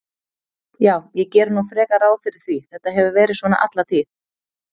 Já, ég geri nú frekar ráð fyrir því, þetta hefur verið svona alla tíð.